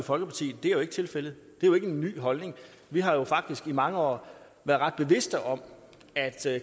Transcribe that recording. folkeparti det er jo ikke tilfældet det er jo ikke en ny holdning vi har jo faktisk i mange år været ret bevidste om at